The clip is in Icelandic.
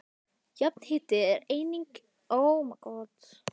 Jarðhiti er einnig nýttur við uppeldi á garðplöntum og skógarplöntum.